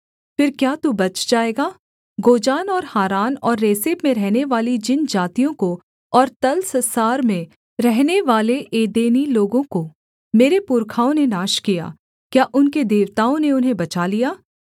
फिर क्या तू बच जाएगा गोजान और हारान और रेसेप में रहनेवाली जिन जातियों को और तलस्सार में रहनेवाले एदेनी लोगों को मेरे पुरखाओं ने नाश किया क्या उनके देवताओं ने उन्हें बचा लिया